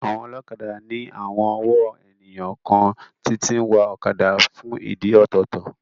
Àwọn ọlọ́kadà ní àwon ọ̀wọ́ ènìyàn kan tí tí ń wa ọ̀kadà fún ìdí ọ̀tọ̀ọ̀tọ̀